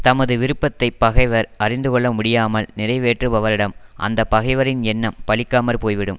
தமது விருப்பத்தை பகைவர் அறிந்து கொள்ள முடியாமல் நிறைவேற்றுபவரிடம் அந்த பகைவரின் எண்ணம் பலிக்காமற் போய்விடும்